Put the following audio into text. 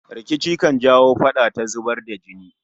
Rikici kan jawo fada ta zubar da jini